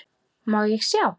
Má ég sjá?